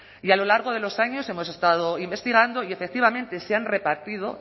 y a lo largo de los años hemos estado investigando y efectivamente se han repartido